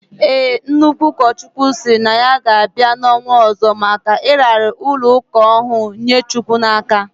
Ee, Nnukwu ukochukwu siri na ya ga bai na onwo ozo maka iraara ulo uka ohuru nye chukwu na aka